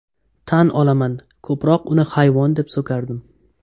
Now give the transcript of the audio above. Tan olaman ko‘proq uni hayvon deb so‘kardim.